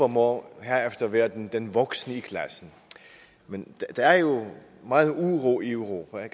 må være den den voksne i klassen men der er jo meget uro i europa